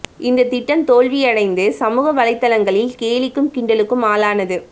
இந்த திட்டம் தோல்வி அடைந்து சமூக வலைத்தளங்களில் கேலிக்கும் கிண்டலுக்கும் ஆளானது